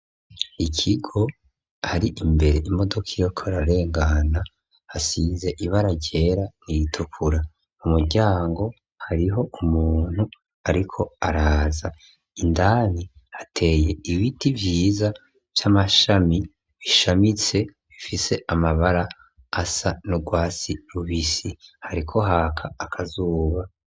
Ikigo hari imbere imodoka iyoko rarengana hasize ibara ryera nitukura mu muryango hariho umuntu, ariko araza indani hateye ibiti vyiza v'amashami bishamitse bifise amabara asa nurwasi rubisi hariko haka akazuba.